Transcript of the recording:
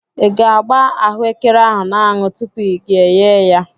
Ị ga-agba ahụ ekere ahụ n'anụ tupu gị eyee ya?